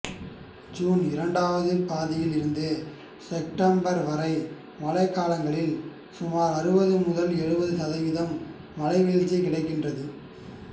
சூன் இரண்டாம் பாதியில் இருந்து செப்டம்பர் வரை மழைக்காலங்களில் சுமார் அறுபது முதல் எழுபது சதவீதம் மழைவீழ்ச்சி கிடைக்கின்றது